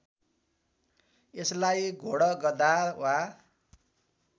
यसलाई घोडगधा वा